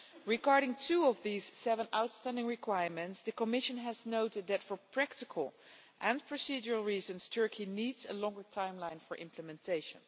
Regarding two of these seven outstanding requirements, the Commission has noted that for practical and procedural reasons, Turkey needs a longer timeline for implementation.